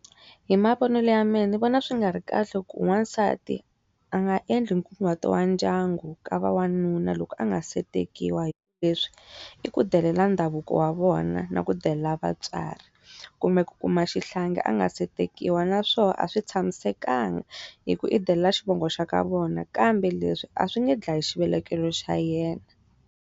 Hi mavonelo ya mehe ni vona swi nga ri kahle ku n'wansati a nga endli nkunguhato wa ndyangu ka va n'wanuna loko a nga se tekiwa hikuva leswi i ku delela ndhavuko wa vona na ku ku delela vatswari. Kumbe ku kuma xihlangi a nga se tekiwa na swona a swi tshamisekanga, hikuva i delela xivongo xa ka vona kambe leswi a swi nge dlayi xivelekelo xa yena.